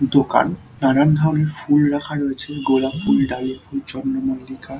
দোকান নানান ধরনের ফুল রাখা রয়েছে গোলাপ ফুল ডালিয়া ফুল চন্দ্রমল্লিকা ।